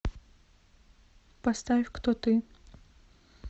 поставь кто ты